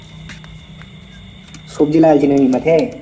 সবজি লাগছে নাকি মাঠে?